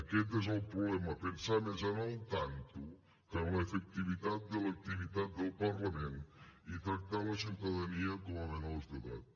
aquest és el problema pensar més en el tanto que en l’efectivitat de l’activitat del parlament i tractar la ciutadania com a menors d’edat